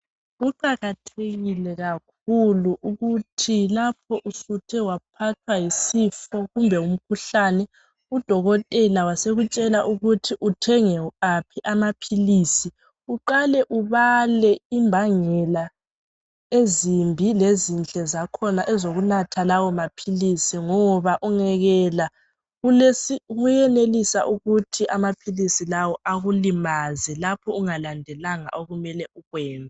kuqakathekile kakhulu ukuthi lapho usuthe waphathwa yisifo kumba ngumkhuhlane udokotela wasekusthela ukuthi uthenge aphi amaphilisi uqale ubale imbangela ezimbi lezinhle zakhona ezokunatha lawo maphilisi ngoba ungekela kuyenelisa ukuthi amaphilisi lawo akulimaze lapho ungalandelanga okumele ukwenze